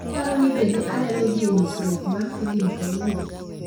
Iparo ni bende anyalo dhi e nyisrwok mar filim kawuono